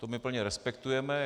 To my plně respektujeme.